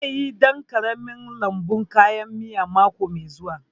Zai yi ɗan ƙaramin lambun kayan miya mako mai zuwa